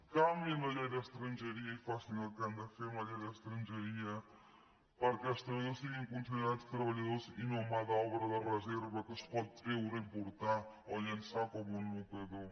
canviïn la llei d’estrangeria i facin el que han de fer amb la llei d’estrangeria per·què els treballadors siguin considerats treballadors i no mà d’obra de reserva que es pot treure i portar o llençar com un mocador